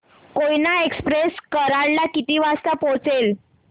Koyna express Karad ला किती वाजता पोहचेल